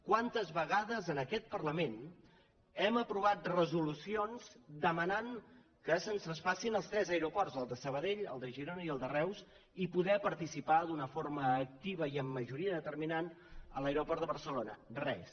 quantes vegades en aquest parlament hem aprovat resolucions demanant que se’ns traspassin els tres aeroports el de sabadell el de girona i el de reus i poder participar d’una forma activa i amb majoria determinant a l’aeroport de barcelona res